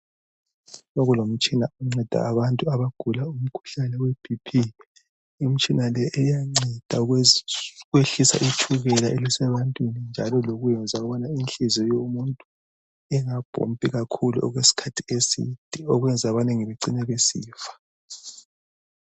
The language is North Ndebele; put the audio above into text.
Sekulomtshina onceda abantu abagula umkhuhlane weBP. Imtshina le iyanceda ukwehlisa itshukela elisebantwini, njalo iyenza ukubana inhliziyo yomuntu, ingapompi kakhulu, okwesikhathi eside. Okwenza abanengi becine besifa.